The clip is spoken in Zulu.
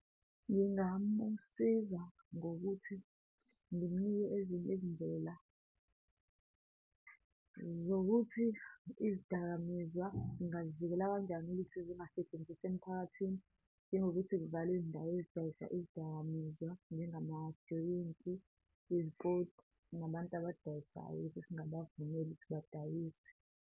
Ngingamusiza ngokuthi ngimnike ezinye izindlela zokuthi izidakamizwa singayivikela kanjani ukuthi zingasetshenziswa emphakathini, njengokuthi kuvalwe izindawo ezidayisa izidakamizwa njengamajoyinti, izipoti, nabantu abadayisayo, singabavumeli ukuthi badayise.